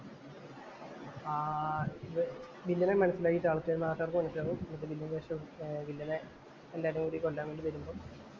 ആഹ് വില്ലനെ മനസിലായി ആള്‍ക്കാര് നാട്ടുകാര്‍ക്ക് മനസിലാവും വില്ലനെ എല്ലാരും കൂടി കൊല്ലാന്‍ വേണ്ടി വരുമ്പോ